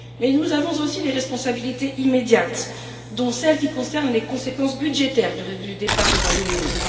Mais nous avons aussi des responsabilités immédiates, dont celle qui concerne les conséquences budgétaires du départ du Royaume-Uni.